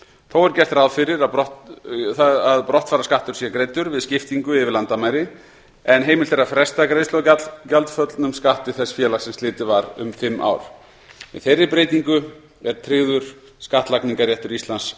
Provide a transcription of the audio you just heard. þó er gert ráð fyrir að brottfararskattur sé greiddur við skiptingu yfir landamæri en heimilt er að fresta greiðslu á gjaldföllnum skatti þess félags sem slitið var um fimm ár með þeirri breytingu er tryggður skattlagningarréttur íslands